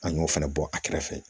An y'o fɛnɛ bɔ a kɛrɛfɛ